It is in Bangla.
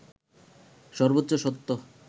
সর্বোচ্চ সত্য